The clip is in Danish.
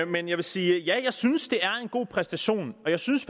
men jeg vil sige at jeg synes det er en god præstation og jeg synes